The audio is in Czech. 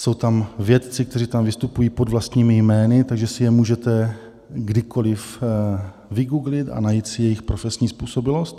Jsou tam vědci, kteří tam vystupují pod vlastními jmény, takže si je můžete kdykoliv vygooglit a najít si jejich profesní způsobilost.